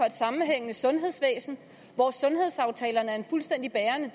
et sammenhængende sundhedsvæsen hvor sundhedsaftalerne er en fuldstændig bærende